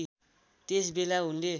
त्यस बेला उनले